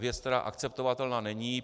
Věc, která akceptovatelná není.